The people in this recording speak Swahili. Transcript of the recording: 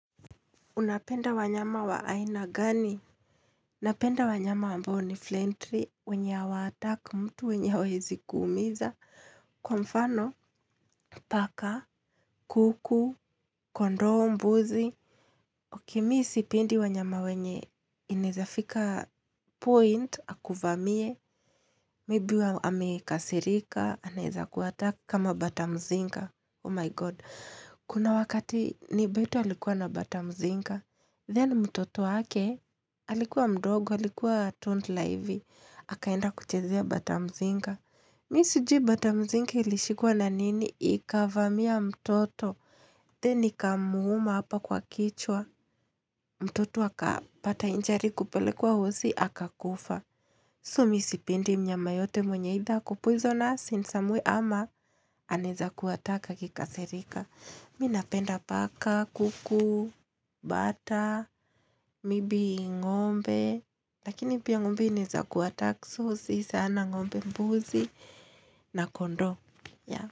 Unapenda wanyama wa aina gani? Napenda wanyama ambao ni flentry, wenye hawaattack mtu, wenye hawaezi kuumiza. Kwa mfano, paka, kuku, kondoo, mbuzi. Okay mi sipendi wanyama wenye inaeza fika point, akuvamie. Maybe amekasirika, anaeza kuattack kama batamzinga. Oh my god. Kuna wakati neighbour wetu alikuwa na batamzinga. Then mtoto wake, alikuwa mdogo, alikuwa toddler hivi, akaenda kuchezea batamzinga. Mi sijui batamzinga ilishikwa na nini ikavamia mtoto, then ikamuuma hapa kwa kichwa, mtoto akapata injury, kupelekwa hosi, akakufa. So mi sipendi mnyama yoyote mwenye either ako poisonous in some way ama anaeza kuattack akikasirika. Mi napenda paka, kuku, bata, maybe ng'ombe Lakini pia ng'ombe inaeza kuattack so si sana ng'ombe. Mbuzi na kondoo, yeah.